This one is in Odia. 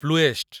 ପ୍ଲୁଏଷ୍ଟ୍